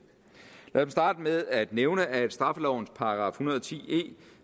lad mig starte med at nævne at straffelovens § en hundrede og ti e